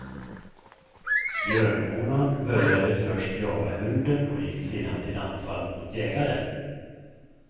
Björnhonan började först jaga hunden och gick sedan till anfall mot jägaren.